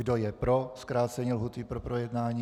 Kdo je pro zkrácení lhůty k projednání?